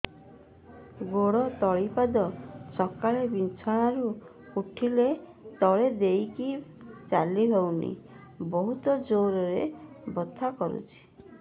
ଗୋଡ ତଳି ପାଦ ସକାଳେ ବିଛଣା ରୁ ଉଠିଲେ ତଳେ ଦେଇକି ଚାଲିହଉନି ବହୁତ ଜୋର ରେ ବଥା କରୁଛି